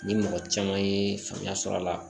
Ni mɔgɔ caman ye faamuya sɔrɔ a la